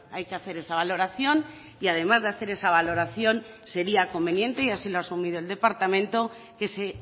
hay que hacer esa valoración y además de hacer esa valoración sería conveniente y así lo ha asumido el departamento que se